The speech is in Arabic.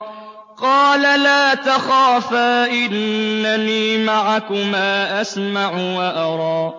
قَالَ لَا تَخَافَا ۖ إِنَّنِي مَعَكُمَا أَسْمَعُ وَأَرَىٰ